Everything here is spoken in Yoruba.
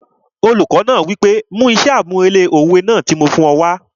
Olùkọ náà wí pé 'mú iṣẹ́ àmúrelé òwe náà tí mo fún ọ wá'